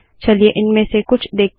चलिए इनमें से कुछ देखते हैं